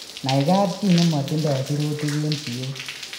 Nai kapchii nematindoo siruutik en siyook